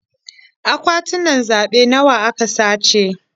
Akwatunan zaɓe nawa aka sace?